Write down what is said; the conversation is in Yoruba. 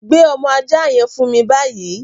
Gbé ọmọ aja yẹn fún mi báyìí!